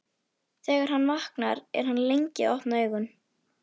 Þegar hann vaknar er hann lengi að opna augun.